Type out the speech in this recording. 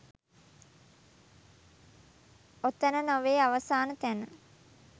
ඔතැන නොවේ අවසාන තැන.